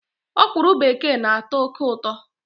Ọkwụrụ bekee na-atọ oké ụtọ